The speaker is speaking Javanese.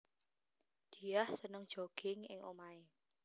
Diah seneng jogging ing omahé